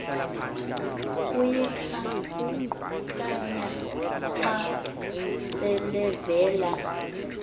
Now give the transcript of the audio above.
kuyikhankanyaee xa selevela